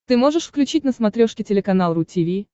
ты можешь включить на смотрешке телеканал ру ти ви